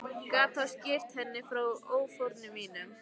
Gat þá skýrt henni frá áformum mínum.